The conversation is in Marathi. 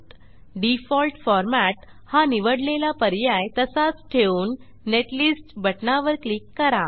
डिफॉल्ट फॉर्मॅट हा निवडलेला पर्याय तसाच ठेवून नेटलिस्ट बटणावर क्लिक करा